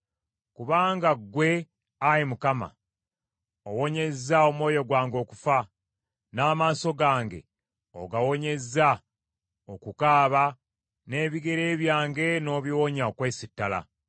Kubanga ggwe, Ayi Mukama , owonyezza omwoyo gwange okufa, n’amaaso gange ogawonyezza okukaaba; n’ebigere byange n’obiwonya okwesittala,